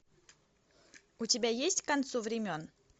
у тебя есть к концу времен